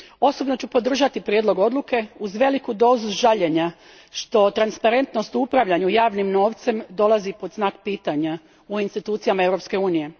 Osobno ću podržati Prijedlog odluke uz veliku dozu žaljenja što transparentnost u upravljanju javnim novcem dolazi pod znak pitanja u institucijama Europske unije.